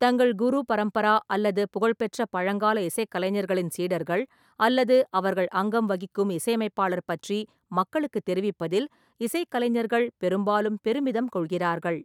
தங்கள் குரு பரம்பரா அல்லது புகழ்பெற்ற பழங்கால இசைக்கலைஞர்களின் சீடர்கள் அல்லது அவர்கள் அங்கம் வகிக்கும் இசையமைப்பாளர் பற்றி மக்களுக்கு தெரிவிப்பதில் இசைக்கலைஞர்கள் பெரும்பாலும் பெருமிதம் கொள்கிறார்கள்.